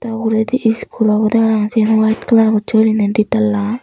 uguredi school obodey parapang siyan white colour gochi guriney di tala.